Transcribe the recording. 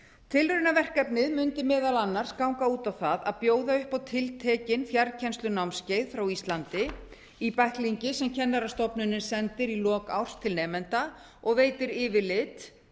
tilraunaverkefnið mundi meðal annars ganga út á það að bjóða upp á tiltekin fjarkennslunámskeið frá íslandi í bæklingi sem kennarastofnunin sendir í lok árs til nemenda og veitir yfirlit